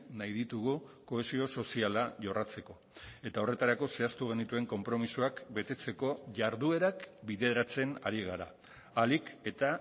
nahi ditugu kohesio soziala jorratzeko eta horretarako zehaztu genituen konpromisoak betetzeko jarduerak bideratzen ari gara ahalik eta